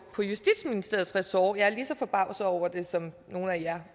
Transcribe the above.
på justitsministeriets ressort jeg er lige så forbavset over det som nogle